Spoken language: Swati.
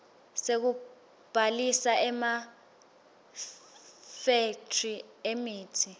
sekubhalisa emafethri emitsi